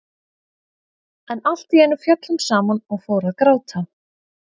En allt í einu féll hún saman og fór að gráta.